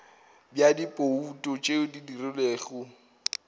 bja dibouto tše di dirilwego